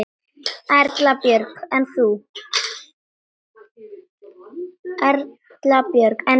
Erla Björg: En þú?